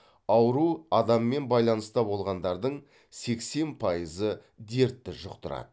ауру адаммен байланыста болғандардың сексен пайызы дертті жұқтырады